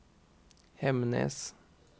Hemnes